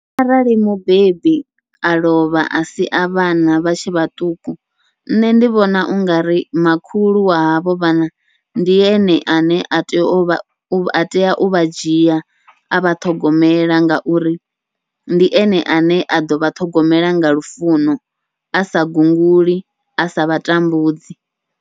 Arali mubebi a lovha a sia vhana vha tshe vhaṱuku, nṋe ndi vhona ungari makhulu wa havho vhana ndi ene ane a tea uvha a tea uvha dzhia avha ṱhogomela, ngauri ndi ene ane a ḓovha ṱhogomela nga lufuno a sa gunguli asa vha tambudzi.